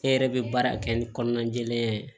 Ne yɛrɛ bɛ baara kɛ ni kɔnɔna jɛlenya ye